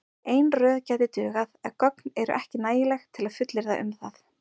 Ein röð gæti dugað en gögn eru ekki nægileg til að fullyrða um það.